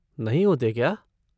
नहीं होते क्या?